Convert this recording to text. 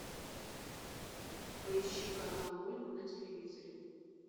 поищи канал мульт на телевизоре